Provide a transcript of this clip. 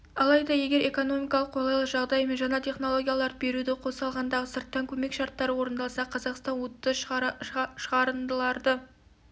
алайда егер экономикалық қолайлы жағдай мен жаңа технологияларды беруді қоса алғандағы сырттан көмек шарттары орындалса қазақстан уытты шығарындыларды